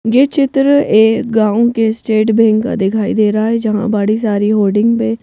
ये चित्र एक गांव के स्टेट बैंक का दिखाई दे रहा है जहां बड़ी सारी होर्डिंग पे--